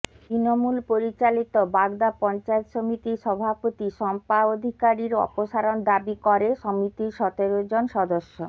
তৃণমূল পরিচালিত বাগদা পঞ্চায়েত সমিতির সভাপতি শম্পা অধিকারীর অপসারণ দাবি করে সমিতির সতেরো জন সদস্য